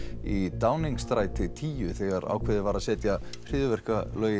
í tíu þegar ákveðið var að setja hryðjuverkalög